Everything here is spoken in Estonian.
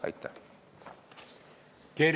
Aitäh!